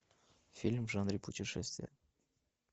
фильм в жанре путешествия